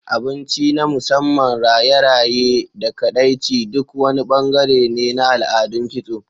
Abinci na musamman, raye-raye, da kaɗaici duk wani bangare ne na al'adun kitso.